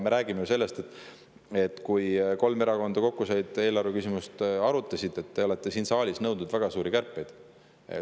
Me rääkisime ka ju sellest, kui kolm erakonda kokku said ja eelarveküsimust arutasid, et te olete siin saalis nõudnud väga suuri kärpeid.